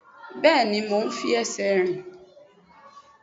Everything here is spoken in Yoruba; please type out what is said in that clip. Bẹ́ẹ̀ni, mo ń fi ẹsẹ̀ rìn.